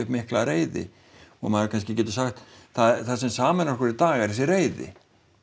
mikla reiði og maður kannski getur sagt það sem sameinar okkur í dag er þessi reiði